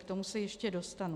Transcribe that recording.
K tomu se ještě dostanu.